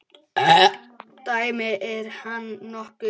Dæmi: Er hann nokkuð?